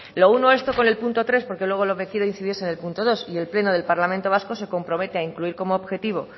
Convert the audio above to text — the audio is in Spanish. lo uno esto con el punto tres porque luego lo que quiero incidir en es el punto dos y el pleno del parlamento vasco se compromete a incluir como objetivo